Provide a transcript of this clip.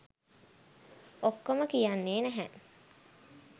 ඔක්කොම කියන්නේ නැහැ